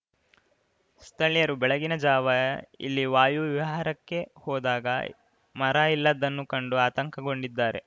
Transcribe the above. ಸ್ಥಳೀಯರು ಬೆಳಗಿನ ಜಾವ ಇಲ್ಲಿ ವಾಯು ವಿಹಾರಕ್ಕೆ ಹೋದಾಗ ಮರ ಇಲ್ಲದನ್ನು ಕಂಡು ಆತಂಕಗೊಂಡಿದ್ದಾರೆ